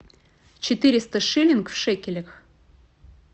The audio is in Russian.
четыреста шиллинг в шекелях